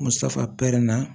Ko safu pɛrɛn na